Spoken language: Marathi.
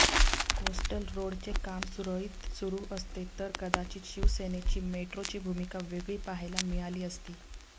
कोस्टल रोडचे काम सुरळीत सुरु असते तर कदाचित शिवसेनेची मेट्रोची भूमिका वेगळी पाहायला मिळाली असती